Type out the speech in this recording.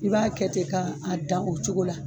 I b'a kɛ ten ka dan o cogo la.